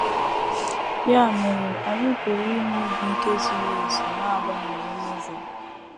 Ya mere, anyị pụrụ inwe obi ike zuru ezu n’abamuru Novel.